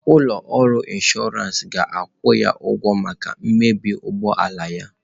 Ụlọ ọrụ inshọransị ga-akwụ ya ụgwọ maka mmebi ụgbọ ala ya.